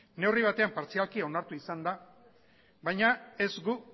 neurri batean partzialki onartu izan da baina ez gu